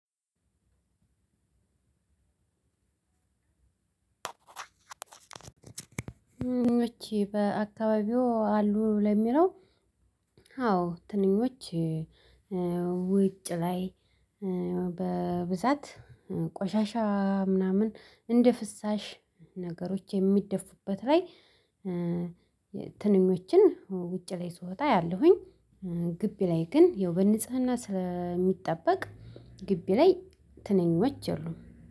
ትንኞች በአከባቢው አሉ ለሚለው? አዎ ትንኞች። ውጪ ላይ በብዛት ቆሻሻ ምናምን እንደ ፍሳሽ ነገሮች የሚደፉበት ላይ። ትንኞችን ውጪ ላይ ስወጣ አያለሁኝ። ግቢ ላይ ግን የዉቤት ንጽህና ስለምጠበቅ ግቢ ላይ ትንኞች የሉም።